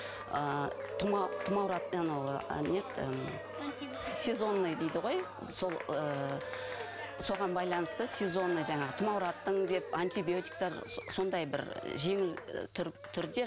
ыыы сезонный дейді ғой сол ыыы соған байланысты сезонный жаңағы тұмаураттың деп антибиотиктер сондай бір ы жеңіл ы түрде